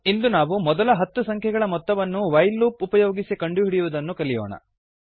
ಇಂದು ನಾವು ಮೊದಲ ಹತ್ತು ಸಂಖ್ಯೆಗಳ ಮೊತ್ತವನ್ನು ವೈಲ್ ಲೂಪ್ ಉಪಯೋಗಿಸಿ ಕಂಡುಹಿಡಿಯುವುದನ್ನು ಕಲಿಯೋಣ